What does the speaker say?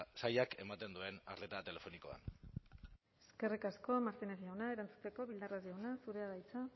sailak ematen duen arreta telefonikoan eskerrik asko martínez jauna erantzuteko bildarratz jauna zurea da hitza